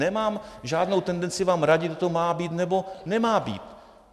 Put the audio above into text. Nemám žádnou tendenci vám radit, kdo to má být nebo nemá být.